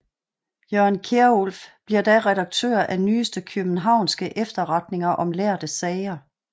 Jørgen Kierulf bliver da redaktør af Nyeste Kiøbenhavnske Efterretninger om lærde Sager